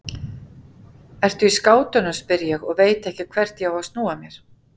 Ertu í skátunum, spyr ég og veit ekki hvert ég á að snúa mér.